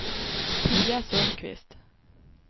Pia Sundkvist